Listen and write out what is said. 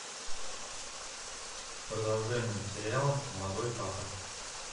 продолжение сериала молодой папа